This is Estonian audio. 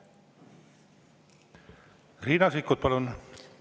Riina Sikkut, palun!